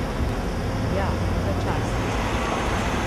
Ja, in ga časti.